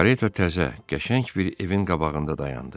Kareta təzə, qəşəng bir evin qabağında dayandı.